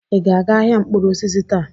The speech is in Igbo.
Ị ga-aga ahịa mkpụrụ osisi taa?